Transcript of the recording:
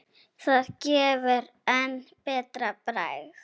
Það gefur enn betra bragð.